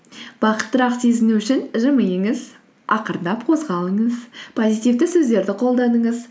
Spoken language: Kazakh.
бақыттырақ сезіну үшін жымиыңыз ақырындап қозғалыңыз позитивті сөздерді қолданыңыз